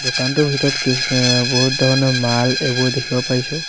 দোকানটোৰ ভিতৰত কিছু এ বহুত ধৰণৰ মাল এইবোৰ দেখিব পাৰিছোঁ।